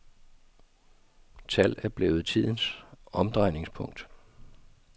Tal er blevet tidens omdrejningspunkt.